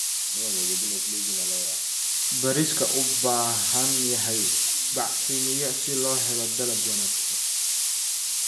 Bariiska u baahan yahay bacrimiyo si loo helo dalag wanaagsan.